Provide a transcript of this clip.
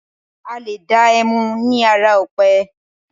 Alé dá ẹmu ni ara ọ̀pẹ.